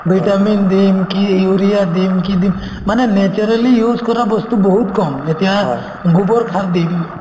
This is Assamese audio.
vitamin দিম কি urea দিম কি দিম মানে naturally use কৰা বস্তু বহুত কম এতিয়া গোবৰ সাৰ দিম